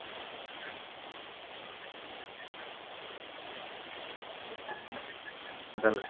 ହଉ ତାହାଲେ